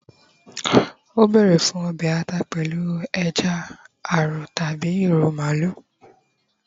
o bere fún obe ata pèlú eja arọ tabi iru maalu